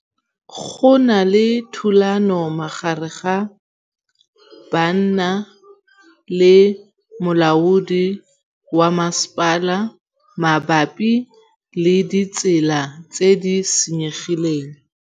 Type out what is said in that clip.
Go na le thulanô magareng ga banna le molaodi wa masepala mabapi le ditsela tse di senyegileng.